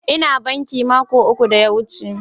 Ina bankin mako uku da ya wuce.